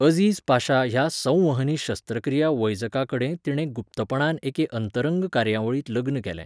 अझीज पाशा ह्या संवहनी शस्त्रक्रिया वैजकाकडेन तिणें गुप्तपणान एके अंतरंग कार्यावळींत लग्न केलें.